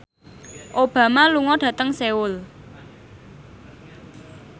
Obama lunga dhateng Seoul